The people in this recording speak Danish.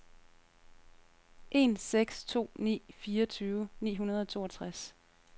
en seks to ni fireogtyve ni hundrede og toogtres